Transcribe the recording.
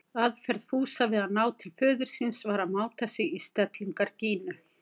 Aðferð Fúsa við að ná til föður síns var að máta sig í stellingar Gínu.